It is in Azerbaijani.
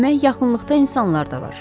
Demək yaxınlıqda insanlar da var.